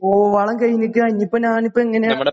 ഓ വളം കയിഞ്ഞിക്കാണിപ്പോഞാനിപ്പോ എങ്ങനാ?